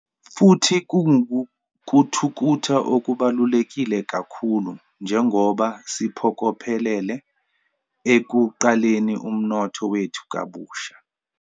Futhi kungukuthuthuka okubalulekile kakhulu njengoba siphokophelele ekuqaleni umnotho wethu kabusha.